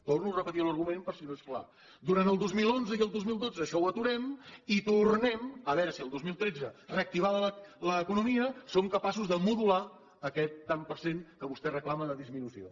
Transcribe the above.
torno a repetir l’argument per si no és clar durant el dos mil onze i el dos mil dotze això ho aturem i tornem a veure si el dos mil tretze reactivada l’economia som capaços de modular aquest tant per cent que vostè reclama de disminució